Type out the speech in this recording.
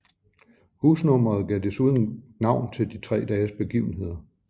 Husnummeret gav desuden navn til de tre dages begivenheder